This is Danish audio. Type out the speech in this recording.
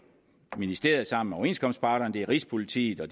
ministeriet sammen med overenskomstparterne rigspolitiet og